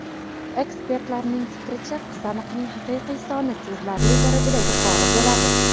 Ekspertlarning fikricha, qizamiqning haqiqiy soni sezilarli darajada yuqori bo‘ladi.